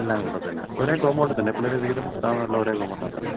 എല്ലാം കൊല്ലത്ത് തന്നെയാ. ഒരേ കോമ്പൗണ്ടി തന്നെ. പുള്ളിടെ വീടും സ്ഥാപനോം എല്ലാം ഒരേ കോമ്പൗണ്ടി തന്നെ.